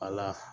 Ala